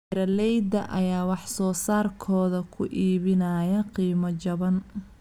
Beeralayda ayaa wax soo saarkooda ku iibinaya qiimo jaban.